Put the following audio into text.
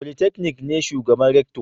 Polytechnic ne shugaban Rector